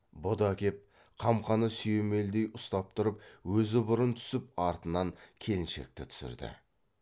бұ да кеп қамқаны сүйемелдей ұстап тұрып өзі бұрын түсіп артынан келіншекті түсірді